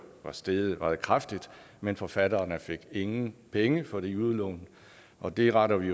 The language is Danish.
var steget meget kraftigt men forfatterne fik ingen penge for de udlån og det retter vi